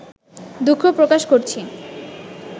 দুঃখ প্রকাশ করছি